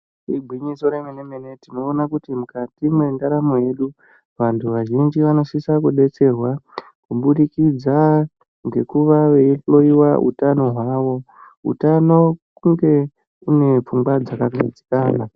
Igwinyiso remene-mene tinoona kuti mukati mwendaramo yedu, vantu vazhinji vanosisa kubetserwa kubudikidza ngekuva veihloiwa utano hwavo. Utano kunge unepfungwa dzakagadzikana.